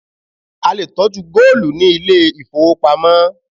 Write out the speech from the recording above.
A lè tọ́jú góòlù ní ilé ìfowópamọ́.